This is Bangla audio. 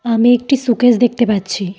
আমি একটি শোকেস দেখতে পাচ্ছি।